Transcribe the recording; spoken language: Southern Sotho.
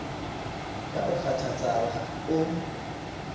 ya o kgothatsang ha o